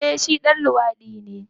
Eh shi ɗan luwadi ne.